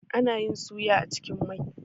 Ana yin suya a cikin mai.